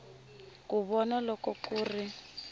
ku vona loko ku ri